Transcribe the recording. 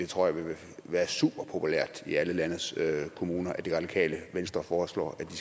tror at det ville være super populært i alle landets kommuner at det radikale venstre foreslår at de